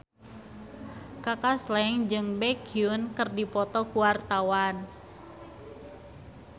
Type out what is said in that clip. Kaka Slank jeung Baekhyun keur dipoto ku wartawan